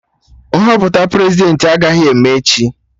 Nhọpụta Prezidentị agaghị eme echi